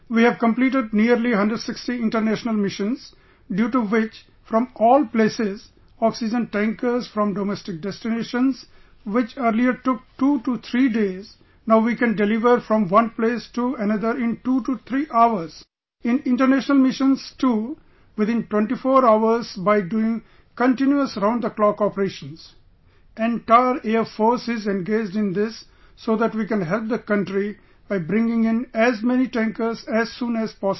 We have completed nearly 160 international missions; due to which, from all places, oxygen tankers from domestic destinations which earlier took two to three days, now we can deliver from one place to another in two to three hours; in international missions too within 24 hours by doing continuous round the clock operations... Entire Air Force is engaged in this so that we can help the country by bringing in as many tankers as soon as possible